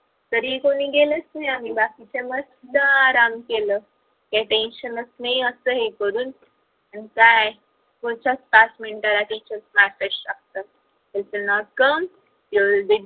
तरीही कुणी गेलच नाही आम्ही बाकीचे मस्त आराम केल काही tension च नाही अस हे करून मग काय पुढच्याच पाच मिनिटं ला teachers message टाकतात if you not come your will be